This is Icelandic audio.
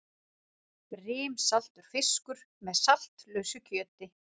Brimsaltur fiskur með saltlausu kjöti.